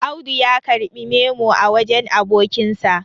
Audu ya karɓI memo a wajen abokinsa